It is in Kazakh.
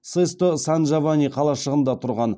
сесто сан джованни қалашығында тұрған